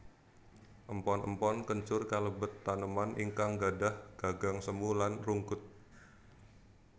Empon empon kencur kalebet taneman ingkang gadhah gagang semu lan rungkut